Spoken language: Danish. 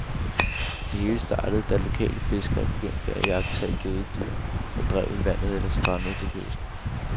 Det hele startede da lokale fiskere begyndte at iagttage døde dyr, der drev i vandet eller strandede på kysten.